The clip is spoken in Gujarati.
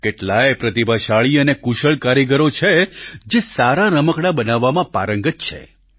કેટલાય પ્રતિભાશાળી અને કુશળ કારીગરો છે જે સારા રમકડાં બનાવવામાં પારંગત છે